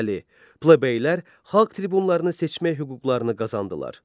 Plebeylər xalq tribunlarını seçmək hüquqlarını qazandılar.